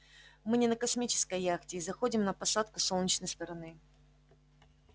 мы не на космической яхте и заходим на посадку с солнечной стороны